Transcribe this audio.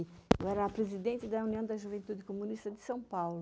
Eu era a presidente da União da Juventude Comunista de São Paulo.